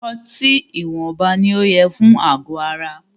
Ọtí ìwọnba ní o yẹ fún àgọ ara.